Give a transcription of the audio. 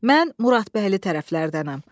Mən Muradbəyli tərəflərdənəm.